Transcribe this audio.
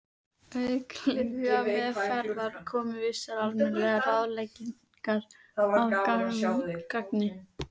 Auk lyfjameðferðar koma vissar almennar ráðleggingar að gagni.